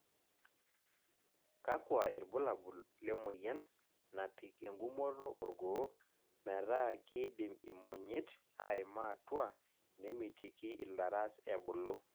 Kakua irbulabol lemoyian napik engumoto orgoo metaa kidim imonyit aima atua nemitiki ilaras ebulu.